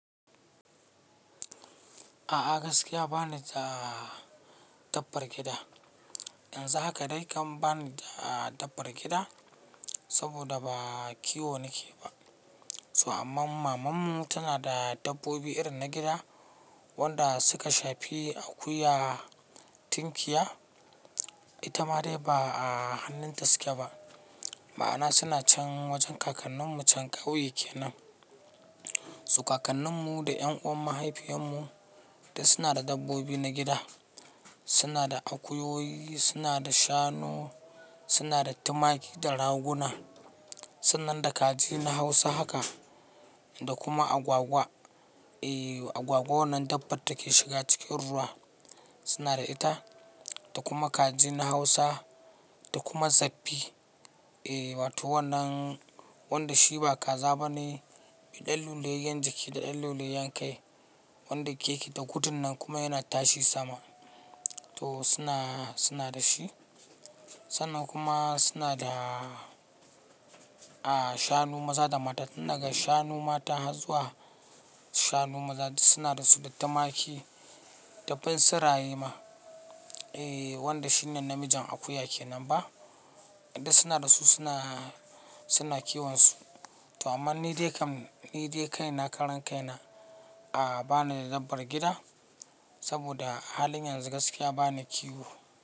A'a gaskiya bani da dabbar gida. Yanzu haka dai kam bani da dabbar gida saboda ba kiwo nake ba. So amma mamanmu tana da dabbobi irin na gida wanda suka shafi akuya, tinkiya, ita ma dai ba a hannunta suke ba. Ma'ana suna can wajen kakannin mu can ƙauye kenan. So kakannin mu da 'ƴan uwan mahaifiyan mu duk suna da dabbobi na gida. Suna da akuyoyi, suna da shanu, suna da tumaki da raguna. Sannan da kaji na hausa haka da kuma agwagwa. Eeh agwagwa wannan dabbar da take shiga cikin ruwa suna da ita da kuma kaji na hausa da kuma zabbi. Eeh wato wannan wanda shi ba kaza bane, mai ɗan luliyayyan jiki da ɗan luliyayyen kai wanda yake da gudun nan kuma yana tashi sama. To suna, suna da shi. Sannan kuma suna da aah shanu maza da mata. Tun daga shanu mata harbzuwa shanu maza duk suna da su da tumaki da bunsuraye ma. Eeh wanda shi nan namijin akuya kenan ba. Duk suna da su suna, suna kiwon su. To amman ni dai kam ni dai kai na karan kai na a ba ni da dabbar gida saboda halin yanzu gaskiya bani kiwo.